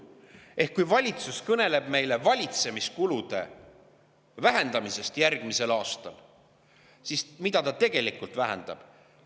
Ehk kui valitsus kõneleb meile valitsemiskulude vähendamisest järgmisel aastal, siis mida ta tegelikult vähendab?